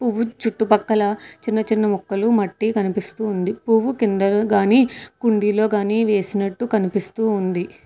పువ్వు చుట్టుపక్కల చిన్న చిన్న ముక్కలు మట్టి కనిపిస్తూ ఉంది పువ్వు కింద గాని కుండీలో గాని వేసినట్టు కనిపిస్తూ ఉంది.